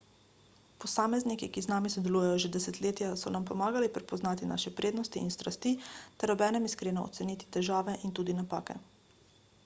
posamezniki ki z nami sodelujejo že desetletja so nam pomagali prepoznati naše prednosti in strasti ter obenem iskreno oceniti težave in tudi napake